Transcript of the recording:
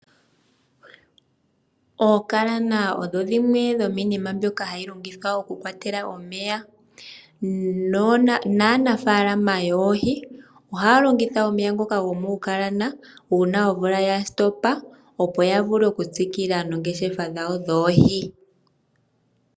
Ookalana odho dhimwe dhomiinima mbyoka hayi longithwa okukwatelwa omeya naanafalama yoohi ohaya longitha omeya ngoka gomuukalana uuna omvula ya hulu okuloka opo ya vule okutsikila noongeshefa dhawo dhoohi.